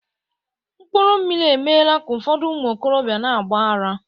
mkpuru mmiri emeela ka ụfọdụ ụmụ okorobịa na-agba ara